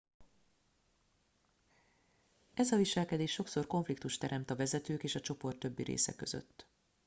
ez a viselkedés sokszor konfliktust teremt a vezetők és a csoport többi része között